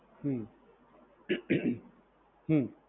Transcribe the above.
હમ્મ હમ્મ.